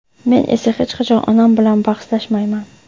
Men esa hech qachon onam bilan bahslashmayman”.